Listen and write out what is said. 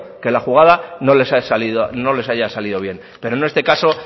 que la jugada no les haya salido bien pero en este caso